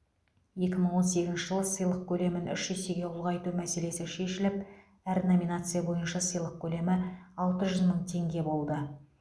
екі мың он сегізінші жылы сыйлық көлемін үш есеге ұлғайту мәселесі шешіліп әр номинация бойынша сыйлық көлемі алты жүз мың теңге болды